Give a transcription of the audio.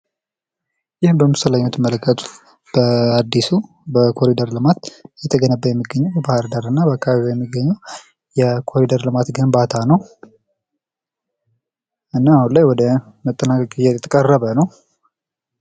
ይህ በምስሉ ላይ የምትመለከቱት በአድሱ የኮሪደር ልማት እየተሰራ እየተገነባ የሚገኘው በባህርዳር እና በአካባቢው የሚገኘው የኮሪደር ልማት ግንባታ ነው። እና አሁን ላይ ወደ መጠናቀቅ እየተቃረበ ነው።